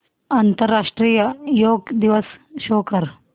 आंतरराष्ट्रीय योग दिवस शो कर